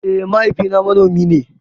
Eh mahaifi na manomi ne